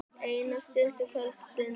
Eina stutta kvöldstund.